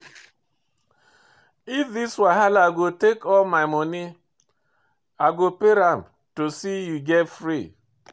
If this wahala go take all my monie, I go pay am to see you get free.